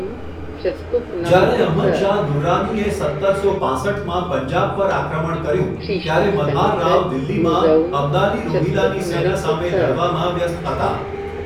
જ્યારે અહમદ શાહ દુર્રાનીએ સત્તરસો પાંસઠમાં પંજાબ પર આક્રમણ કર્યું, ત્યારે મલ્હાર રાવ દિલ્હીમાં અબ્દાલી રોહિલાની સેના સામે લડવામાં વ્યસ્ત હતા.